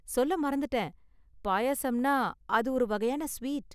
சொல்ல மறந்துட்டேன், பாயாசம்னா அது ஒரு வகையான ஸ்வீட்.